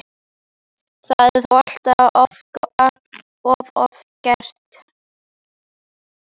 Það er þó allt of oft gert.